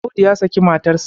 Audu ya saki matarsa.